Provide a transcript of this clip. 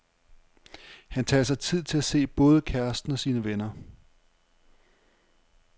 Han tager sig tid til at se både kæresten og sine venner.